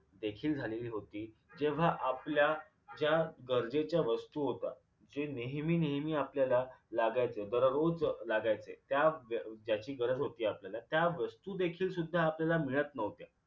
देखील झालेली होती जेव्हा आपल्या ज्या गरजेच्या वस्तू होता जे नेहमी नेहमी आपल्याला लागायचं दररोज लागायचे त्या ज्या ज्याची गरज होती आपल्याला त्या वस्तू देखील सुद्धा आपल्याला मिळत न्हवत्या